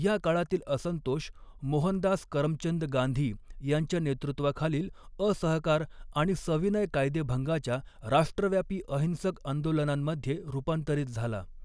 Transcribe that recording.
या काळातील असंतोष मोहनदास करमचंद गांधी यांच्या नेतृत्वाखालील असहकार आणि सविनय कायदेभंगाच्या राष्ट्रव्यापी अहिंसक आंदोलनांमध्ये रूपांतरित झाला.